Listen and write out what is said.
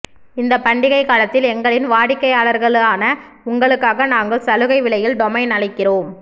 இந்த பண்டிகை காலத்தில் எங்களின் வாடிக்கையாளர்களான உங்களுக்காக நாங்கள் சலுகை விலையில் டொமைன் அளிக்கிறோம்